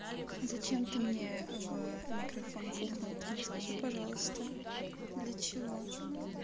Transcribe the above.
зачем ты мне в микрофон пукнул ты мне скажи пожалуйста для чего